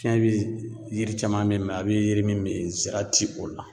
Fiɲɛ bi yiri caman be yen a be yiri min ben zira ti o la.